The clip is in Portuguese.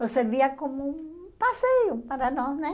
Nos servia como um passeio para nós, né?